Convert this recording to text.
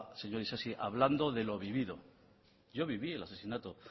señor isasi hablando de lo vivido yo viví el asesinato